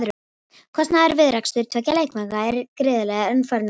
Kostnaðurinn við rekstur tveggja leikvanga er gríðarlegur en örfáir nota þá.